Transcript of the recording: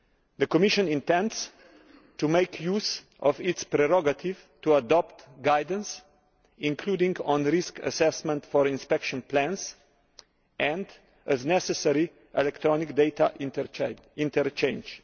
The Commission intends to make use of its prerogative to adopt guidance, including on risk assessment for inspection plans and, as necessary, electronic data interchange.